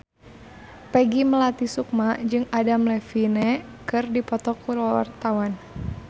Peggy Melati Sukma jeung Adam Levine keur dipoto ku wartawan